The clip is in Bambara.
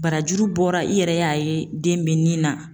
Barajuru bɔra i yɛrɛ y'a ye den bɛ ni na